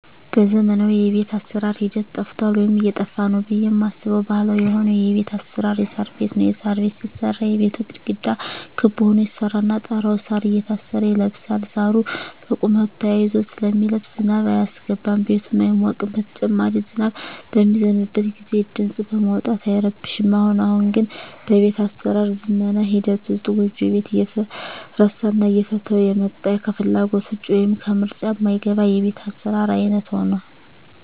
በዘመናዊ የቤት አሰራር ሂደት ጠፍቷል ወይም እየጠፋ ነው ብየ ማስበው ባህላዊ የሆነው የቤት አሰራር የሳር ቤት ነው። የሳር ቤት ሲሰራ የቤቱ ግድግዳ ክብ ሁኖ ይሰራና ጣራው እሳር እየታሰረ ይለብሳል እሳሩ በቁመቱ ተያይዞ ስለሚለብስ ዝናብ አያስገባም ቤቱም አይሞቅም በተጨማሪም ዝናብ በሚዘንብበት ግዜ ድምጽ በማውጣት አይረብሽም። አሁን አሁን ግን በቤት አሰራር ዝመና ሂደት ውስጥ ጎጆ ቤት እየተረሳና እየተተወ የመጣ ከፍላጎት ውጭ ወይም ከምርጫ ማይገባ የቤት አሰራር አይነት ሁኗል።